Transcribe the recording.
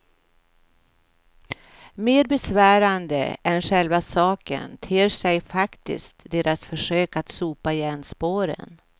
Mer besvärande än själva saken ter sig faktiskt deras försök att sopa igen spåren.